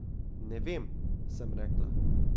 Ne vem, sem rekla.